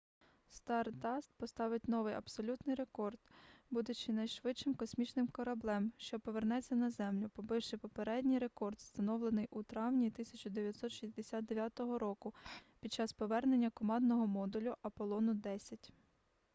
стардаст поставить новий абсолютний рекорд будучи найшвидшим космічним кореблем що повернеться на землю побивши попередній рекорд встановлений у травні 1969 під час повернення командного модулю аполлону 10